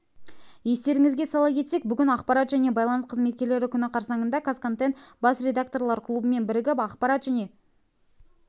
естеріңізге сала кетсек бүгін ақпарат және байланыс қызметкерлері күні қарсаңында қазконтент бас редакторлар клубымен бірігіп ақпарат